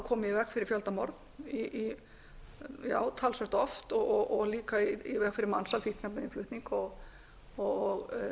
komið í veg fyrir fjöldamorð talsvert oft og líka í veg fyrir mansal fíkniefnainnflutning og